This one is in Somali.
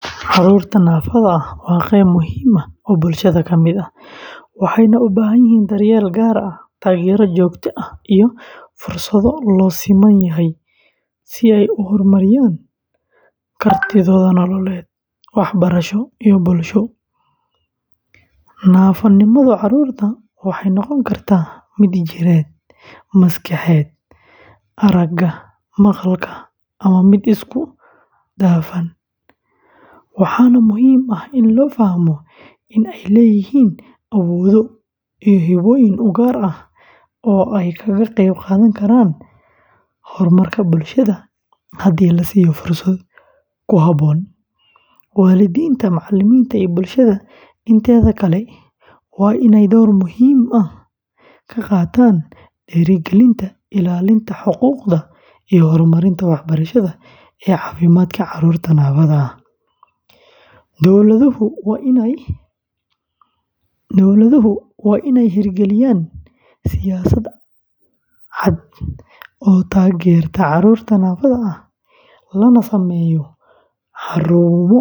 Carruurta naafada ah waa qayb muhiim ah oo bulshada ka mid ah, waxayna u baahan yihiin daryeel gaar ah, taageero joogto ah, iyo fursado loo siman yahay si ay u horumariyaan kartidooda nololeed, waxbarasho, iyo bulsho. Naafonimada carruurta waxay noqon kartaa mid jireed, maskaxeed, aragga, maqalka, ama mid isku dhafan, waxaana muhiim ah in la fahmo in ay leeyihiin awoodo iyo hibbooyin u gaar ah oo ay kaga qayb qaadan karaan horumarka bulshada haddii la siiyo fursado ku habboon. Waalidiinta, macallimiinta, iyo bulshada inteeda kale waa in ay door muhiim ah ka qaataan dhiirrigelinta, ilaalinta xuquuqda, iyo horumarinta waxbarashada iyo caafimaadka carruurta naafada ah. Dowladuhu waa inay hirgeliyaan siyaasad cad oo taageerta carruurta naafada ah, lana sameeyo xarumo